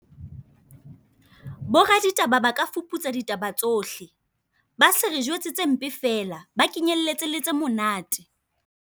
Bo raditaba ba ka fuputsa ditaba tsohle. Ba se re jwetse tse mpe feela, ba kenyelletse le tse monate.